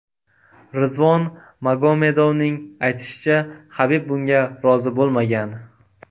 Rizvon Magomedovning aytishicha, Habib bunga rozi bo‘lmagan.